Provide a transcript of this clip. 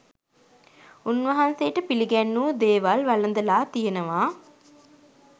උන්වහන්සේට පිළිගැන්වූ දේවල් වළඳලා තියෙනවා